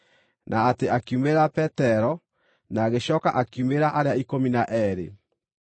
na atĩ akiumĩrĩra Petero, na agĩcooka akiumĩrĩra arĩa Ikũmi na Eerĩ.